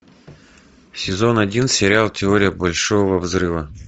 сезон один сериал теория большого взрыва